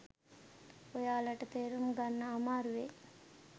ඔයාලට තේරුම් ගන්න අමාරු වෙයි.